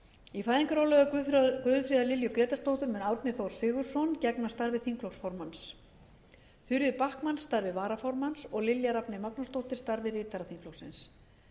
í fæðingarorlofi guðfríðar lilju grétarsdóttur mun árni þór sigurðsson gegna starfi þingflokksformanns þuríður backman starfi varaformanns og lilja rafney magnúsdóttir starfi ritara þingflokksins